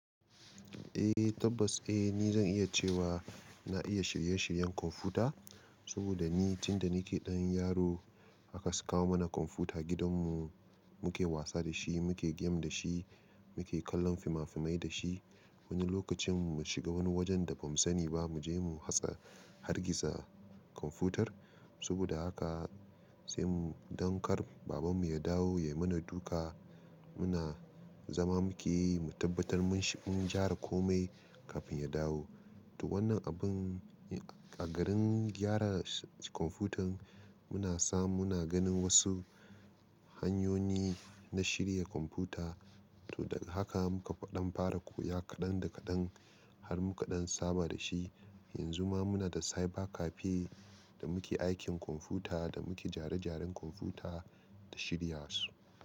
Eh tabbas eh ni zan iya cewa na iya shirye-shiryen kwamfuta saboda ni tun da nike ɗan yaro haka suka kawo mana kwamfuta gidan mu muke wasa da shi muke game da shi muke kallon fimafimai da shi wani lokacin mu shiga wani wajen da bamu sani ba mu je mu hatsa hargitsa kwamfutar saboda haka sai mu danƙar baban mu ya dawo ya mana duka muna zama muke mu tabbatar mun gyara komai kafin ya dawo. To wannan abun a garin gyara kwamfutar muna samu muna ganin wasu hanyoyi na shirya kwamfuta to daga haka muka ɗan fara koya kaɗan da kaɗan har muka ɗan saba da shi yanzu ma muna da cyber cafe da muke aikin kwamfuta da muke gyare-gyaren kwamfuta da shirya su.